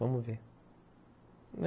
Vamos ver.